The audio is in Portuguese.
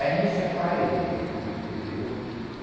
Aí me separei dele e levei o.